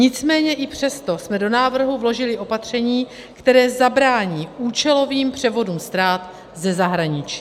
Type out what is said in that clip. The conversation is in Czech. Nicméně i přesto jsme do návrhu vložili opatření, které zabrání účelovým převodům ztrát ze zahraničí.